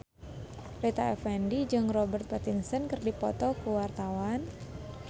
Rita Effendy jeung Robert Pattinson keur dipoto ku wartawan